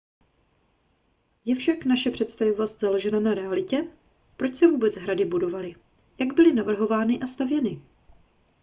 je však naše představivost založena na realitě proč se vůbec hrady budovaly jak byly navrhovány a stavěny